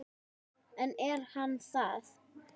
Ég kalla: Mamma!